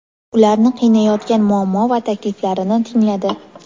ularni qiynayotgan muammo va takliflarini tingladi.